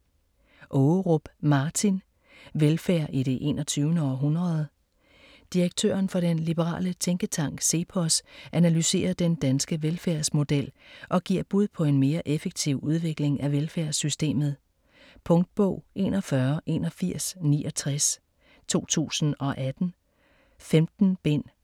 Ågerup, Martin: Velfærd i det 21. århundrede Direktøren for den liberale tænketank CEPOS analyserer den danske velfærdsmodel og giver bud på en mere effektiv udvikling af velfærdssystemet. Punktbog 418169 2018. 15 bind.